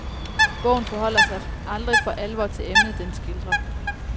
Bogen forholder sig aldrig for alvor til emnet den skildrer.